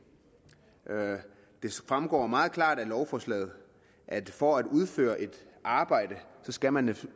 fremgår meget klart af lovforslaget at for at udføre et arbejde skal man